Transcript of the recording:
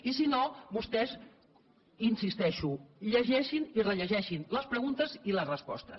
i si no vostès hi insisteixo llegeixin i rellegeixin les preguntes i les respostes